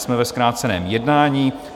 Jsme ve zkráceném jednání.